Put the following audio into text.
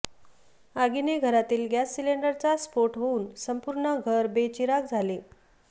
आगीने घरातील गॅस सिलेंडरचा स्फोट होऊन संपुर्ण घर बेचिराख झाले